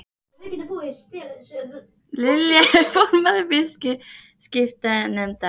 Lilja er formaður viðskiptanefndar